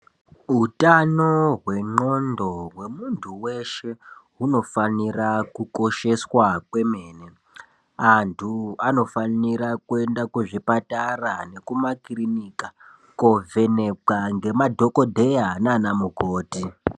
Hutano hwendxondo hwemuntu weshe hunofanira kukosheswa kwemene. Antu anofanira kuenda kuzvipatara nekuma kirinika kovhenekwa ngemadhokodheya nana mukoti.